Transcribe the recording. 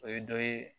O ye dɔ ye